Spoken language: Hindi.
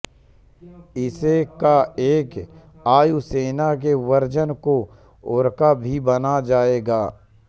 इसे का एक वायु सेना के वर्जन को ओरका भी बना जाएगा